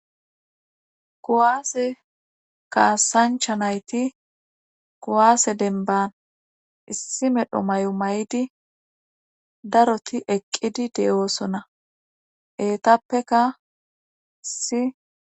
kowaase kaasancha nayti kowaase denban issi medho may7o may7idi daroti eqqidi de7oosona eetappeka si